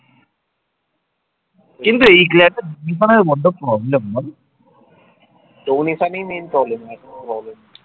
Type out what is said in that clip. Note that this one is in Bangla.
donation এ main problem হয় আর কিছু problem নেই